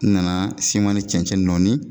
N na siman ni cɛncɛn nɔɔni